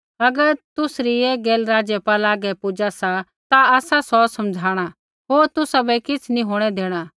अगर तुसरी ऐ गैल राज़पाला हागै पुजा सा ता आसा सौ समझ़ाणा होर तुसाबै किछ़ नी होंणै देणा